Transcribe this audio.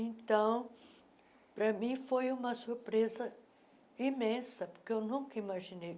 Então, para mim, foi uma surpresa imensa, porque eu nunca imaginei.